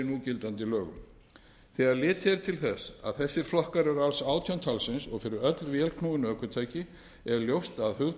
í núgildandi lögum þegar litið er til þess að þessir flokkar eru alls átján talsins og fyrir öll vélknúin ökutæki er ljóst að hugtakið aukin